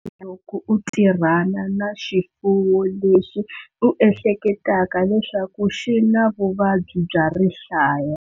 Loko u tirhana na xifuwo lexi u ehleketaka leswaku xi na vuvabyi bya rihlaya.